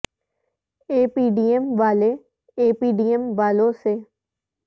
اے P D M والے A P D M والوں سے